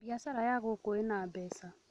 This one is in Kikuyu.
Biacara ya ngũkũĩna mbeca